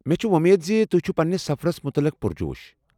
مےٚ چھےٚ وۄمید زِ تُہۍ چھِو پنٛنس سفرس مُتعلق پُر جوش ۔